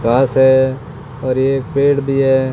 घास है और ये पेड़ भी है।